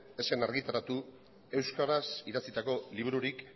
ez zen argitaratu euskaraz idatzitako libururik